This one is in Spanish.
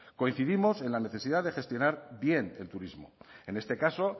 coincidimos en la necesidad de gestionar bien el turismo en este caso